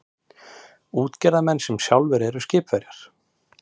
Útgerðarmenn sem sjálfir eru skipverjar.